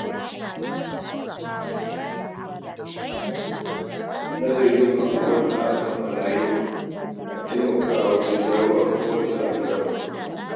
Nazari kan abubuwan da aka kammala yau na taimakawa wajen gano abin da za a gyara gobe.